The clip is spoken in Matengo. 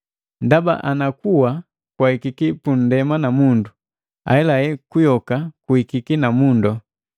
Ndaba ana kuwa kwaahika pundema na mundu, ahelahe kuyoka kuhikiki na mundu.